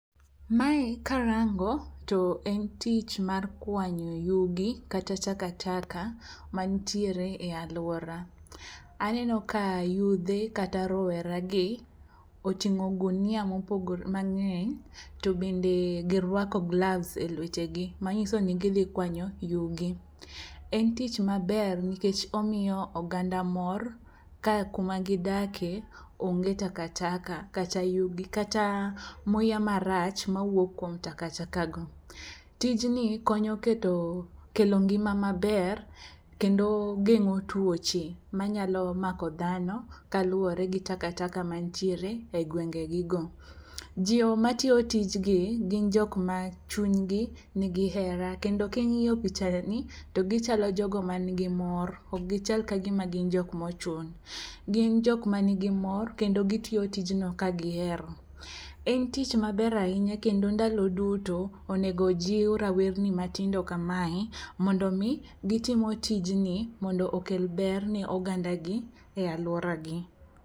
Mae karango to en tich mar kwanyo yugi kata takataka mantiere ei alwora. Aneno ka yudhe kata rowera gi otingó gunia mopogore, mangény to bende girwako gloves e lwetegi. Manyiso ni gidhi kwanyo yugi. En tich maber nikech omiyo oganda mor, ka kuma gidake onge takataka kata yugi, kata muya marach moya kuom takataka go. Tijni konyo keto, kelo ngima maber kendo gengó tuoche manyalo mako dhano kaluwore gi takataka mantiere e gwenge gi go. Joma tiyo tijgi gin jok ma chuny gi nigi hera. Kendo ka ingíyo pichani to gichalo jogo ma nigi mor. Ok gichal ka gima gin jokma ochun. Gin jokma nigi mor, kendo gitiyo tijno ka gihero. En tich maber ahinya. Kendo ndalo duto, onego ojiw rawerni matindo kamae mondo omi gitimo tijni mondo okel ber ne oganda gi, e alwora gi.